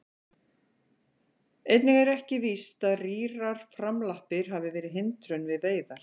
Einnig er ekki víst að rýrar framlappir hafi verið hindrun við veiðar.